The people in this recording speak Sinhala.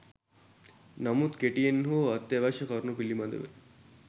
නමුත් කෙටියෙන් හෝ අත්‍යවශ්‍ය කරුණු පිළිබඳව